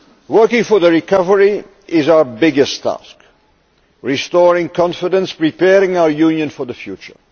Working for the recovery is our biggest task restoring confidence and preparing our Union for the future.